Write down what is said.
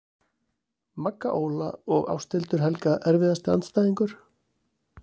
Magga Óla og Ásthildur Helga Erfiðasti andstæðingur?